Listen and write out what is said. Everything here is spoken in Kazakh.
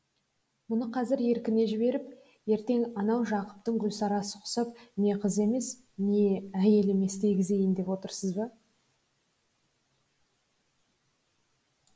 мұны қазір еркіне жіберіп ертең анау жақыптың гүлсарасы құсап не қыз емес не әйел емес дегізейін деп отырсыз ба